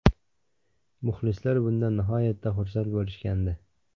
Muxlislar bundan nihoyatda xursand bo‘lishgandi.